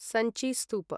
Sanchi स्तूप